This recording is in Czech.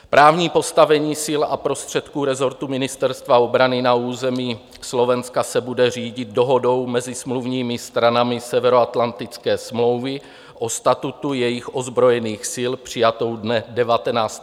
Právní postavení sil a prostředků rezortu Ministerstva obrany na území Slovenska se bude řídit Dohodou mezi smluvními stranami Severoatlantické smlouvy o statutu jejich ozbrojených sil, přijatou dne 19. června 1952 v Londýně.